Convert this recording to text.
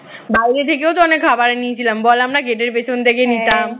বাহিরে থেকেও তো অনেক খাবার নিয়েছিলাম বল আমরা gate এর পেছন থেকে নিতাম